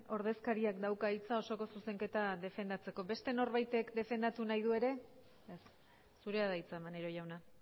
ordezkariak dauka hitza osoko zuzenketa defendatzeko beste norbaitek defendatu nahi du ere ez zurea da hitza maneiro jauna